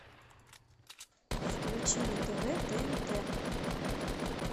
включи на тв тнт